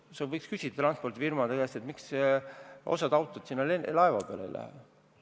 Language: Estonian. Sa võiks transpordifirmade käest küsida, miks osa autosid laeva peale läheb.